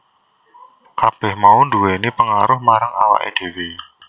Kabeh mau nduwèni pengaruh marang awake dheweke